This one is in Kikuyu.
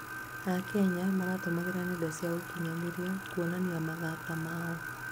akenya maratumĩraga nenda cia ũkinyanĩria kuonania mathata mao.